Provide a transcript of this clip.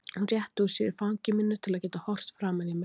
Hún rétti úr sér í fangi mínu til að geta horft framan í mig.